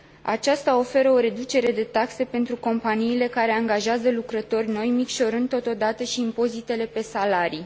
Aceasta oferă o reducere de taxe pentru companiile care angajează lucrători noi, micșorând, totodată, și impozitele pe salarii.